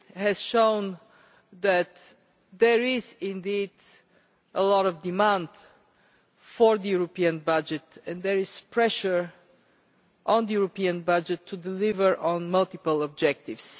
has shown that there is indeed a lot of demand for the European budget and there is pressure on the European budget to deliver on multiple objectives.